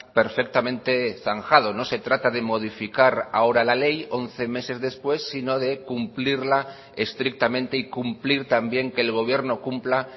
perfectamente zanjado no se trata de modificar ahora la ley once meses después sino de cumplirla estrictamente y cumplir también que el gobierno cumpla